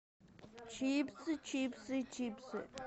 чипсы чипсы чипсы